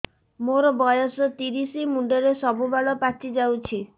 ମୋର ବୟସ ତିରିଶ ମୁଣ୍ଡରେ ସବୁ ବାଳ ପାଚିଯାଇଛି